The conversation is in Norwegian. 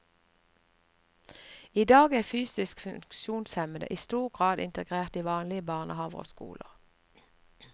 I dag er fysisk funksjonshemmede i stor grad integrert i vanlige barnehaver og skoler.